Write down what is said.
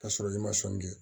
Ka sɔrɔ i ma sɔnni kɛ